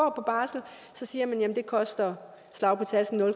så siger man at det koster slag